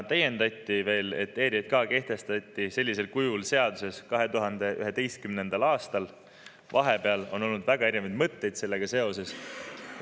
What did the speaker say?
Täiendati, et ERJK kehtestati sellisel kujul seaduses 2011. aastal, vahepeal on olnud väga erinevaid mõtteid sellega seoses.